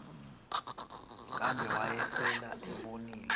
kambe wayesel ebonile